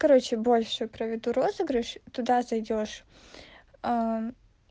короче больше проведу розыгрыш туда зайдёшь